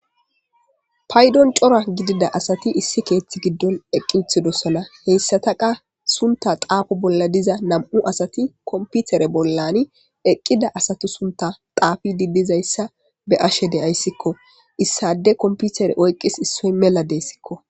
Paydon cora gidida asati issi keeththi giddon eqqi ithidosona heyssataqa sunta xaafu bolla diza nam'u asati komputere bollani eqqida asatu sunta xaafi didizayssa beashe deyayssikko issade komputere oyqqis issoy mela deyssikko.